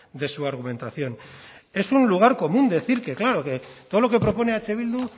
de su argumentación es un lugar común decir que claro todo lo que propone eh bildu